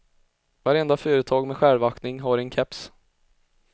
Varenda företag med självaktning har en keps.